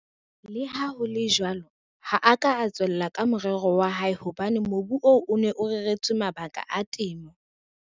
Leha ho le jwalo, ha a ka a tswella ka morero wa hae hobane mobu oo o ne o reretswe mabaka a temo.